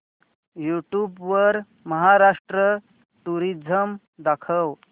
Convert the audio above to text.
YouTube वर Maharashtra tourism दाखव